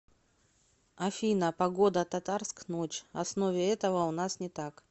афина погода татарск ночь основе этого у нас не так